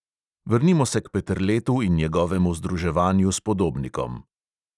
Vrnimo se k peterletu in njegovemu združevanju s podobnikom.